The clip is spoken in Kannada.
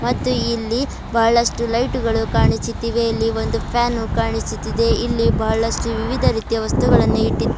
ಮತ್ತು ಇಲ್ಲಿ ಬಹಳಷ್ಟು ಲೈಟು ಗಳು ಕಾಣಿಸುತ್ತಿವೆ ಇಲ್ಲಿ ಒಂದು ಫ್ಯಾನು ಕಾಣಿಸುತ್ತಿದೆ ಇಲ್ಲಿ ಬಹಳಷ್ಟು ರೀತಿಯ ವಿವಿಧ ವಸ್ತುಗಳನ್ನು ಇಟ್ಟಿ --